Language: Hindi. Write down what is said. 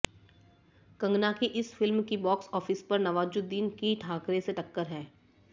कंगना की इस फिल्म की बॉक्स ऑफिस पर नवाजुद्दीन की ठाकरे से टक्कर है